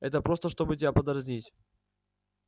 это просто чтобы тебя подразнить